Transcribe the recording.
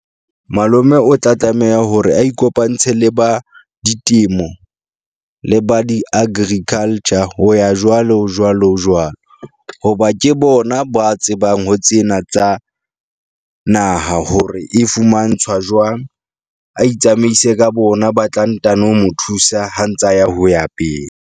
Malome o tla tlameha hore a ikopantshe le ba ditemo le ba di-agriculture ho ya jwalo, jwalo, jwalo. Hoba ke bona ba tsebang ho tsena tsa naha hore e fumantshwa jwang. A itsamaise ka bo bona, ba tla ntano mo thusa ha ntsa ya ho ya pele.